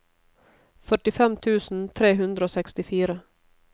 førtifem tusen tre hundre og sekstifire